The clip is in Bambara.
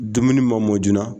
Dumuni ma mɔ joona